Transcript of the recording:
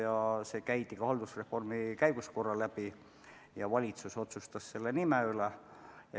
See teema käidi ka haldusreformi käigus korra läbi ja valitsus otsustas nime üle.